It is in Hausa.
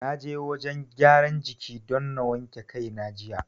Na je wajen gyaran jiki don na wanke kai na jiya.